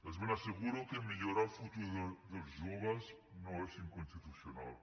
els ben asseguro que millorar el futur dels joves no és inconstitucional